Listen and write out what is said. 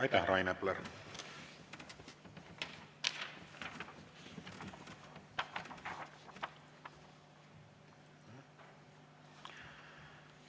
Aitäh, Rain Epler!